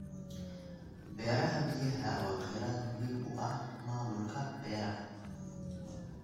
Beeraha Biyaha waa kheyraad muhiim u ah maamulka beeraha.